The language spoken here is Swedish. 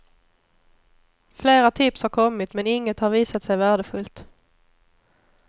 Flera tips har kommit men inget har visat sig värdefullt.